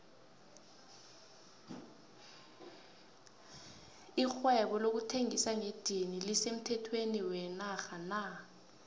lihaisebo lokuthengisa ngedini lise mthhethweni wenatha na